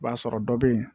I b'a sɔrɔ dɔ bɛ yen